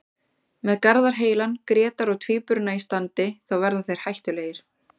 Með Garðar heilan, Grétar og Tvíburana í standi þá verða þeir hættulegir.